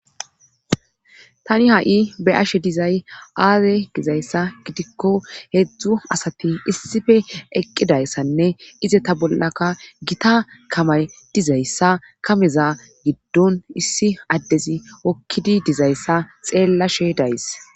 tani ha7i be ashe dizay aaze gizayssa gidikko heedzdzu asati issife eqqidayssanne ize ta bollaka gita kamay dizayssa kameza giddon issi addezi wokkidi dizayssa xeellashe days